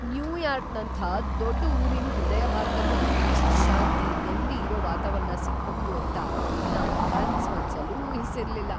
ನ್ಯೂಯಾರ್ಕ್‌ನಂಥ ದೊಡ್ಡ್‌ ಊರಿನ್ ಹೃದಯಭಾಗ್ದಲ್ಲೂ ಇಷ್ಟು ಶಾಂತಿ, ನೆಮ್ದಿ ಇರೋ ವಾತಾವರಣ ಸಿಗ್ಬಹುದು ಅಂತ ನಾನ್‌ ಕನ್ಸ್‌ ಮನ್ಸಲ್ಲೂ ಊಹಿಸಿರ್ಲಿಲ್ಲ!